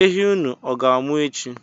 Ehi unu ọ ga-amụ echi?